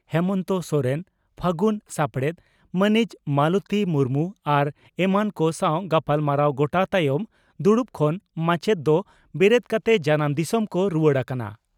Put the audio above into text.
ᱦᱮᱢᱚᱱᱛᱚ ᱥᱚᱨᱮᱱ ᱯᱷᱟᱹᱜᱩᱱ ᱥᱟᱯᱲᱮᱛ ᱢᱟᱹᱱᱤᱡ ᱢᱟᱞᱚᱛᱤ ᱢᱩᱨᱢᱩ ᱟᱨ ᱮᱢᱟᱱ ᱠᱚ ᱥᱟᱣ ᱜᱟᱞᱢᱟᱨᱟᱣ ᱜᱚᱴᱟ ᱛᱟᱭᱚᱢ ᱫᱩᱲᱩᱵ ᱠᱷᱚᱱ ᱢᱟᱪᱮᱛ ᱫᱚ ᱵᱮᱨᱮᱫ ᱠᱟᱛᱮ ᱡᱟᱱᱟᱢ ᱫᱤᱥᱚᱢ ᱠᱚ ᱨᱩᱣᱟᱹᱲ ᱟᱠᱟᱱᱟ ᱾